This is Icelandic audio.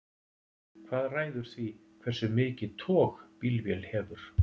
hvað ræður því hversu mikið tog bílvél hefur